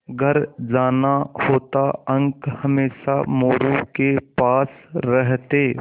घर जाना होता अंक हमेशा मोरू के पास रहते